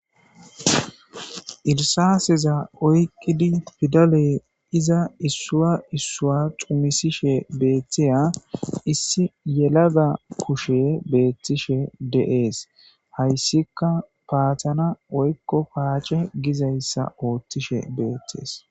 Irisaaseza oykkidi pidaley iza issuwaissuwa cumisishe beeththiya issi yelaga kushe beethtishe de7ees hayssika paathana oykko paace gizayssa ooththishe beeththees